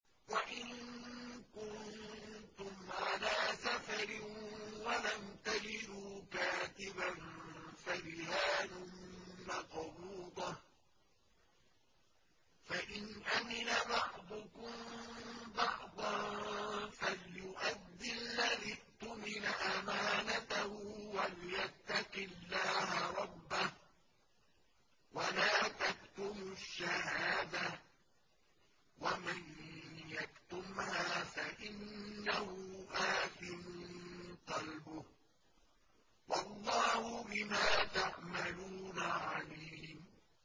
۞ وَإِن كُنتُمْ عَلَىٰ سَفَرٍ وَلَمْ تَجِدُوا كَاتِبًا فَرِهَانٌ مَّقْبُوضَةٌ ۖ فَإِنْ أَمِنَ بَعْضُكُم بَعْضًا فَلْيُؤَدِّ الَّذِي اؤْتُمِنَ أَمَانَتَهُ وَلْيَتَّقِ اللَّهَ رَبَّهُ ۗ وَلَا تَكْتُمُوا الشَّهَادَةَ ۚ وَمَن يَكْتُمْهَا فَإِنَّهُ آثِمٌ قَلْبُهُ ۗ وَاللَّهُ بِمَا تَعْمَلُونَ عَلِيمٌ